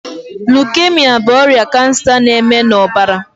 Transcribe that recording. Lukemia bụ ọrịa kansa na- eme na ọbara